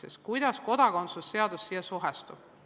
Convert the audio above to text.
Kuidas haakub see kodakondsuse seadusega?